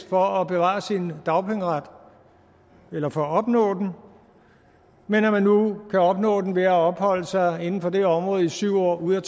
for at bevare sin dagpengeret eller for at opnå den men at man nu kan opnå den ved at have opholdt sig inden for det område i syv år ud af